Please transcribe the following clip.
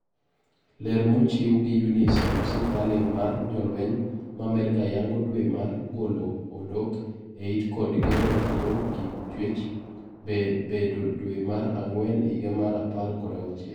Ler mochiw gi Eunice Mc Farling mar jolweny ma Amerka yango dwe mar golo odok eit kod gengo thiro kit chuech bedo dwe mar ag'wen higa mar apar kod auchiel.